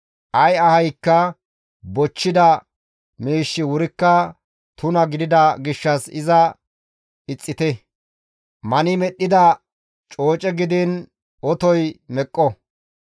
Ay ahaykka bochchida miishshi wurikka tuna gidida gishshas iza ixxite; mani medhdhida cooce gidiin otoy meqqo.